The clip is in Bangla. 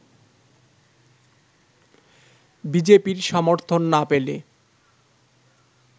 বি জে পি-র সমর্থন না পেলে